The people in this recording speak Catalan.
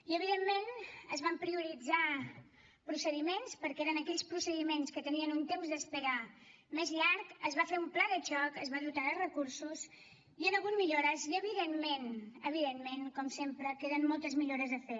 i evidentment es van prioritzar procediments perquè eren aquells procediments que tenien un temps d’espera més llarg es va fer un pla de xoc es va dotar de recursos hi han hagut millores i evidentment evidentment com sempre queden moltes millores a fer